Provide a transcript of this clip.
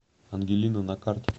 ангелина на карте